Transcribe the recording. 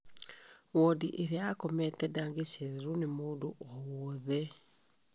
Wodi ĩrĩa akometio ndangĩcererwo nĩ ũndũ o wothe